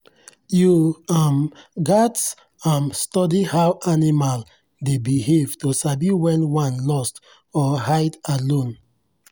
you um gats um study how animal dey behave to sabi when one lost or hide alone.